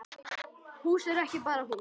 Hús er ekki bara hús.